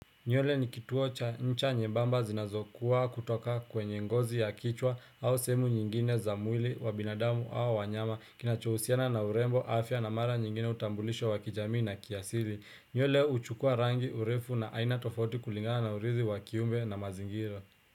Nywele nikituo cha ncha nyembamba zinazokuwa kutoka kwenye ngozi ya kichwa au sehemu nyingine za mwili wa binadamu au wanyama kinachohusiana na urembo afya na mara nyingine utambulisho wakijamii na kiasili. Nywele huchukua rangi urefu na aina tofoti kulingana na uridhi wakiumbe na mazingira.